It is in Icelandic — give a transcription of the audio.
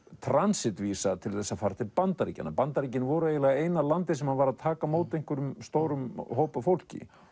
transit vísa til að fara til Bandaríkjanna Bandaríkin voru eiginlega eina landið sem að var að taka á móti einhverjum stórum hóp af fólki